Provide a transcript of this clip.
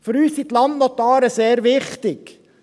Für uns sind die Landnotare sehr wichtig.